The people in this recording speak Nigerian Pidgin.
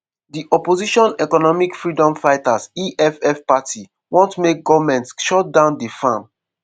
di opposition economic freedom fighters (eff) party want make goment shut down di farm.